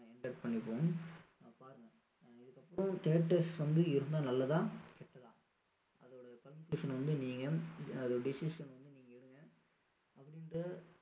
windup பண்ணிக்குவோம் அதுக்கப்புறம் theatres வந்து இருந்தா நல்லதா கெட்டதா அதோட conclusion வந்து நீங்க அதோட decision வந்து நீங்க எடுங்க அப்படின்ட்டு